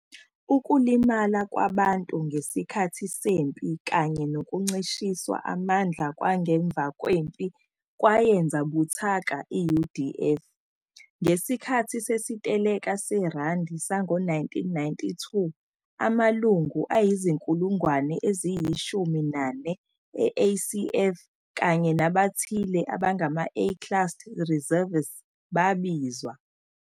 Ukulimala kwabantu ngesikhathi sempi kanye nokuncishiswa amandla kwangemva kwempi kwayenza buthaka i-UDF. Ngesikhathi sesiteleka seRandi sango-1922, amalungu angama-14,000 e-ACF kanye nabathile abangama-A class reservists babizwa.